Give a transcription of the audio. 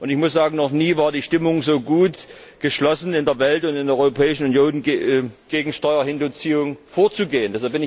Ich muss sagen Noch nie war die Stimmung so geschlossen in der Welt und in der Europäischen Union, gegen Steuerhinterziehung vorzugehen.